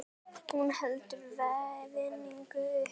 Hún heldur verðinu uppi.